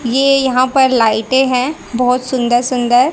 ये यहाँ पर लाइटे है बहोत सुंदर सुंदर।